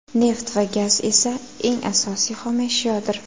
Neft va gaz esa eng asosiy xomashyodir.